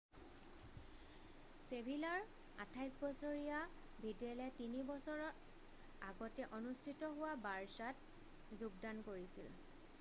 ছেভিলাৰ 28 বছৰীয়া ভিডেলে 3 বছৰৰ আগতে অনুষ্ঠিত হোৱা বাৰ্ছাত যোগদান কৰিছিল